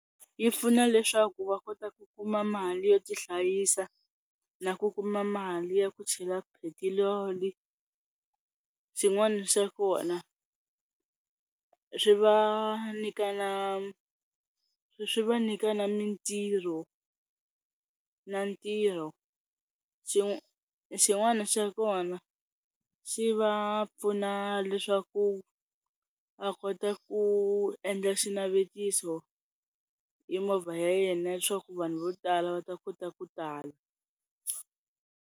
Yi pfuna leswaku va kota ku kuma mali yo ti hlayisa, na ku kuma mali ya ku chela petiroli swin'wana swa kona, swi vanyika swi va nyikana na mitirho na ntirho Xi xin'wana xa kona xi va pfuna leswaku a kota ku endla xinavetiso hi movha ya yena leswaku vanhu vo tala va ta kota ku tala.